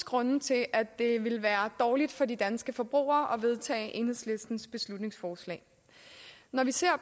grunde til at det vil være dårligt for de danske forbrugere at vedtager enhedslistens beslutningsforslag når vi ser